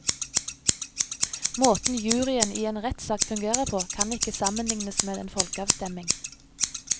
Måten juryen i en rettssak fungerer på kan ikke sammenlignes med en folkeavstemning.